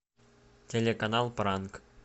телеканал пранк